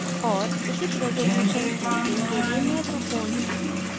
और उचित resolution printing के लिए महत्वपूर्ण है